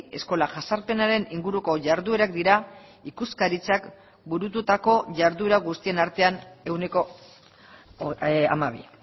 eskola jazarpenaren inguruko jarduerak dira ikuskaritzak burututako jarduera guztien artean ehuneko hamabi